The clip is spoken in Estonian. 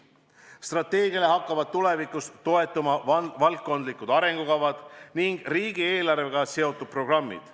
Strateegiale hakkavad tulevikus toetuma valdkondlikud arengukavad ning riigieelarvega seotud programmid.